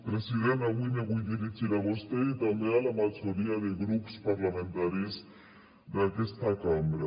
president avui me vull dirigir a vostè i també a la majoria de grups parlamentaris d’aquesta cambra